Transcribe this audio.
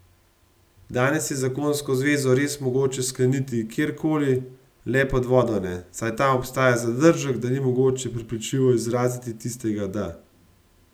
Danes je zakonsko zvezo res mogoče skleniti kjer koli, le pod vodo ne, saj tam obstaja zadržek, da ni mogoče prepričljivo izraziti tistega da.